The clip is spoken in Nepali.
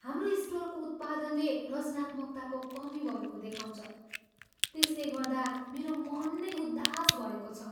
हाम्रो स्टोरको उत्पादनले रचनात्मकताको कमी भएको दर्शाउँछ त्यसले गर्दा मेरो मन नै उदास भएको छ।